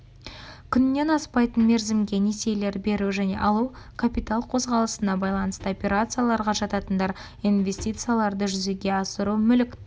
күннен аспайтын мерзімге несиелер беру және алу капитал қозғалысына байланысты операцияларға жататындар инвестицияларды жүзеге асыру мүліктік